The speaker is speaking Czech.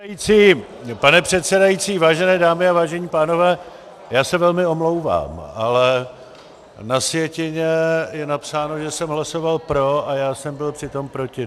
Pane předsedající, vážené dámy a vážení pánové, já se velmi omlouvám, ale na sjetině je napsáno, že jsem hlasoval pro, a já jsem byl přitom proti.